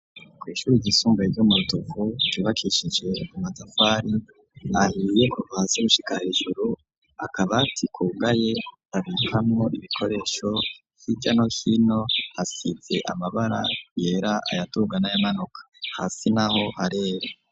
Kw' ishuri igisumbaye ry'omutuvu tubakishije i matavari ahiye kubasi gushikahijuru akaba ati kugaye abihamu ibikoresho y'ijano hino hasidze amabara yera ayatugana ya manuka hasi naho harere.